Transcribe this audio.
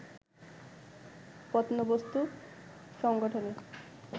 প্রত্নবস্তু সংগঠনে